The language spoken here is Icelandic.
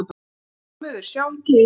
VILHJÁLMUR: Sjáum til?